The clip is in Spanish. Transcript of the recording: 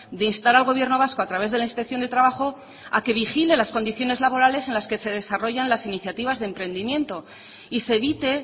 de instar al gobierno vasco a través de la inspección de trabajo a que vigile las condiciones laborales en las que se desarrollan las iniciativas de emprendimiento y se evite